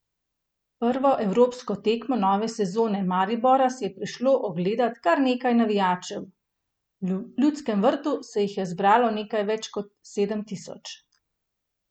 Prvo evropsko tekmo nove sezone Maribora si je prišlo ogledat kar nekaj navijačev, v Ljudskem vrtu se jih je zbralo nekaj več kot sedem tisoč.